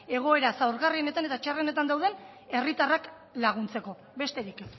egoera zaurgarrietan eta txarretan dauden herritarrak laguntzeko besterik